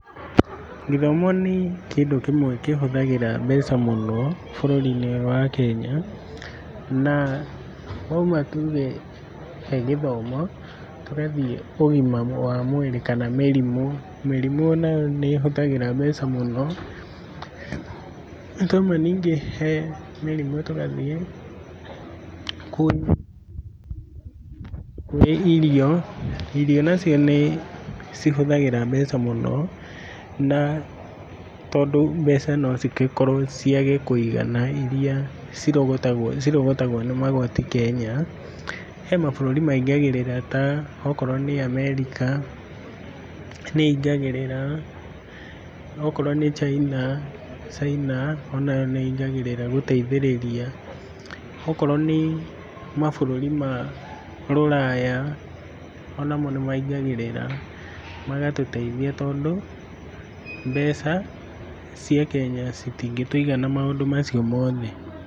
Gĩthomo nĩ kĩndũ kĩmwe kĩhũthagĩra mbeca mũno bũrũri-inĩ ũyũ wa Kenya, na wauma tuge he gĩthomo tũgathiĩ ũgima wa mwĩrĩ kana mĩrimũ. Mĩrimũ onayo nĩĩhũthagĩra mbeca mũno. Twauma ningĩ he mĩrimũ tũgathiĩ kwĩ kwĩ irio, irio nacio nĩcihũthagĩra mbeca mũno, na tondũ mbeca nocigĩkorwo ciage kũigana iria cirogotagwo cirogotagwo nĩ magoti Kenya, he mabũrũri maingagĩrĩra ta okorwo nĩ America nĩĩingagĩrĩra, okorwo nĩ China, China onayo nĩĩingagĩrĩra gũteithĩrĩria. Okorwo nĩ mabũrũri ma rũraya onamo nĩmaingagĩrĩra magatũteithia tondũ mbeca cia Kenya citingĩtũigana maũndũ macio mothe.